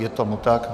Je tomu tak.